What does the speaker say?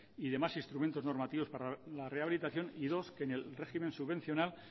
y demás instrumentos normativos para la rehabilitación y dos que en el régimen subvencionado